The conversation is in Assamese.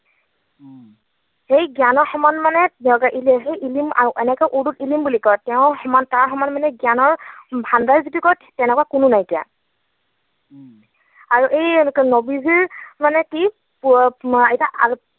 সেই জ্ঞানৰ সমান মানে, ইল্লাহি ইলিম, আৰু এনেকৈ উৰ্দুত ইলিম বুলি কয়। তেওঁৰ সমান, তাৰ সমান মানে জ্ঞানৰ ভাণ্ডাৰ যিটো তেনেকুৱা কোনো নাইকিয়া। আৰু এই নৱীজীৰ মানে কি এতিয়া আল্লাহ